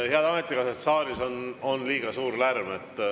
Head ametikaaslased, saalis on liiga suur lärm.